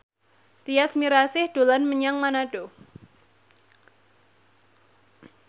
Tyas Mirasih dolan menyang Manado